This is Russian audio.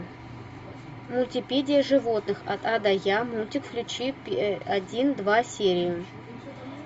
мультипедия животных от а до я мультик включи один два серию